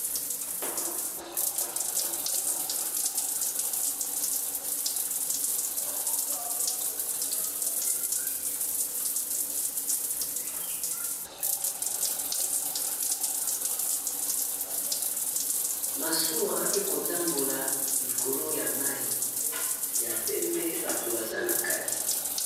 Masuwa ekotambola likolo ya mai ya batu baza na kati.